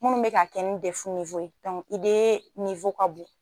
Minnu bɛ ka kɛ nin dɛfu Ide ka bon.